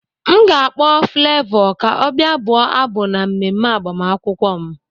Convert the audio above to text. M ga-akpọ Flevọ ka ọ bịa bụọ abụ na mmemme agbamakwụkwọ m